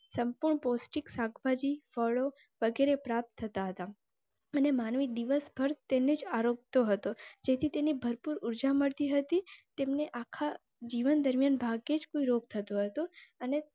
પોષ્ટિક શાક ભાજી ફળો વગેરે પ્રાપ્ત થતાં હતા અને માનવીય દિવસ ભર તેને આરંભતો હતો. જેથી તેની ભરપૂર ઉર્જા મળતી હતી. તેમને આખા જીવન દરમિયાન ભાગ્યેજ કોઈ રોગ્ય થતો હતો અને